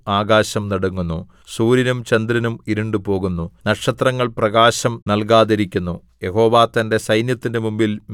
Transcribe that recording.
അവരുടെ മുമ്പിൽ ഭൂമി കുലുങ്ങുന്നു ആകാശം നടുങ്ങുന്നു സൂര്യനും ചന്ദ്രനും ഇരുണ്ടുപോകുന്നു നക്ഷത്രങ്ങൾ പ്രകാശം നല്കാതിരിക്കുന്നു